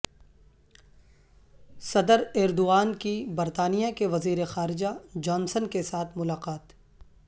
صدر ایردوان کی برطانیہ کے وزیر خارجہ جانسن کیساتھ ملاقات